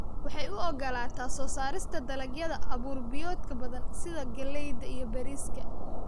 Waxay u ogolaataa soo saarista dalagyada abuur-biyoodka badan sida galleyda iyo bariiska.